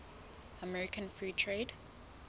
american free trade